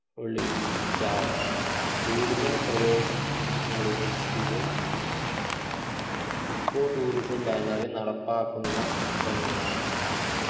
ഒളി ച്ചാൽ കൂടുതൽ പ്രദേശത് ങ്ങളിലും ഇത് echo tourism banner ൽ നടപ്പാക്കുന്ന ഒന്നാകണം